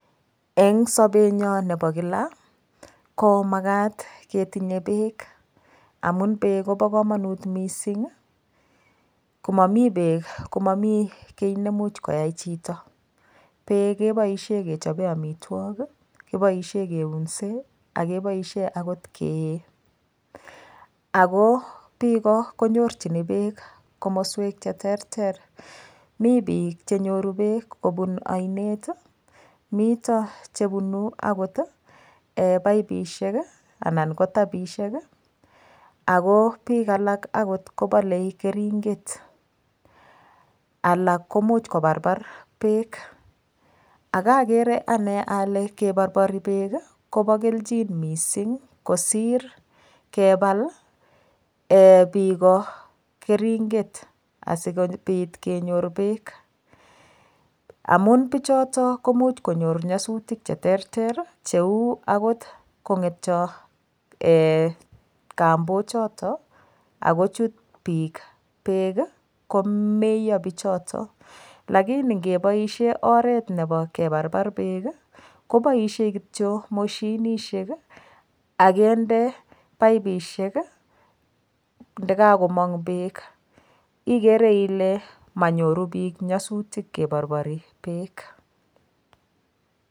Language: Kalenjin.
Eng' sobenyo nebo kila ko makat ketinye beek amun beek kobo kamanut mising' komomi beek komami kii nemuch koyait chito beek keboishe kechobe amitwok beek keboishe keunse akoboishe akot kee ako biko konyorchini beek komoswek cheterter mii biik chenyoru beek kobun oinet mito chebunu akot paipishek anan ko rapishek ako biik alak akot kobalei keringet alak komuch koparpar beek akakere ane ale keporpori beek kobo kelchin mising' kosir kebal biko keringet asikobit kenyor beek amun bichotok komuch konyor nyasutik cheterter cheu akot kong'etio kambochito akochut biik beek komito bichoton lakini ngeboishe oret nebo keparpar beek koboishen kityo mashinishek akende paipishek ndikakomong' beek ikere ile menyoru biik nyosutik keporpori beek